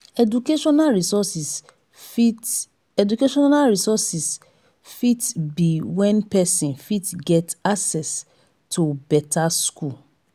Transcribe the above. educational resources fit educational resources fit be when person fit get access to better school